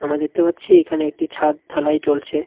আমরা দেখতে পাচ্ছি এইখানে একটি ছাদ ঢালাই চলছে.